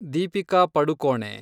Deepika Padukone